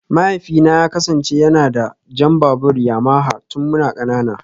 Mahaifina ya kasance yana da jan babur Yamaha tun muna kanana